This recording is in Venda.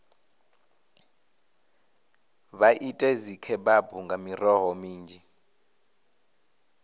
vha ite dzikhebabu nga miroho minzhi